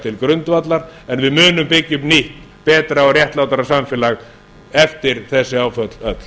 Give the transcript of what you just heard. til grundvallar en við munum byggja upp nýtt betra og réttlátara samfélag eftir þessi áföll öll